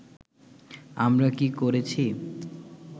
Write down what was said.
আমরা কী করেছি